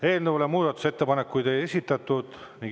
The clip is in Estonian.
Eelnõu kohta muudatusettepanekuid ei ole esitatud.